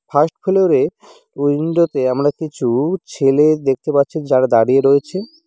First floor -এ window -তে আমরা কিছু ছেলে দেখতে পাচ্ছি যারা দাঁড়িয়ে রয়েছে।